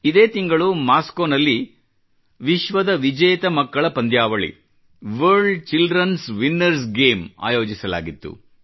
ಇದೇ ತಿಂಗಳು ಮಾಸ್ಕೋ ನಲ್ಲಿ ವಿಶ್ವದ ವಿಜೇತ ಮಕ್ಕಳ ಪಂದ್ಯಾವಳಿ ವರ್ಲ್ಡ್ childrenಸ್ ವಿನ್ನರ್ಸ್ ಗೇಮ್ಸ್ ಆಯೋಜಿಸಲಾಗಿತ್ತು